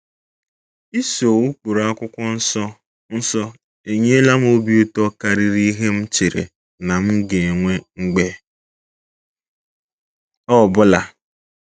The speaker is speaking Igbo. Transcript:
Iso ụkpụrụ akwụkwọ nsọ nsọ enyela m obi ụtọ karịrị ihe m chere na m ga-enwe mgbe ọ bụla! ”